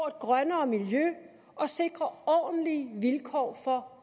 et grønnere miljø og sikrer ordentlige vilkår for